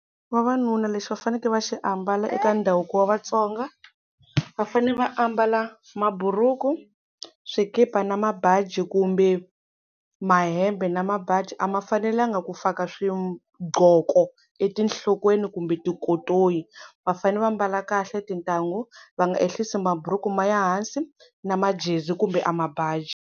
Vavanuna lexi va fanekele va xi ambala eka ndhavuko wa Vatsonga va fanele va ambala maburuku swikipa na mabaji kumbe mahembe na mabaji a ma fanelanga ku faka swiqoko etinhlokweni kumbe tikotoyi va fanele va mbala kahle tintangu va nga ehlisi maburuku ma ya hansi na majezi kumbe a mabaji.